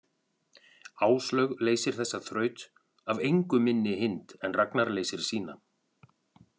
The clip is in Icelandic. Áslaug leysir þessa þraut af engu minni hind en Ragnar leysir sína.